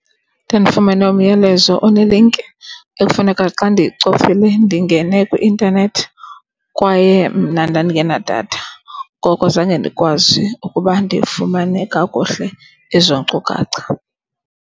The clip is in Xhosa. Ndandifumene umyalezo onelinki ekufuneka xa ndiyicofile ndingene kwi-intanethi kwaye mna ndandingenadatha. Ngoko zange ndikwazi ukuba ndifumane kakuhle ezo nkcukacha.